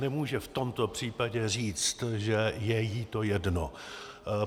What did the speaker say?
Nemůže v tomto případě říct, že je jí to jedno.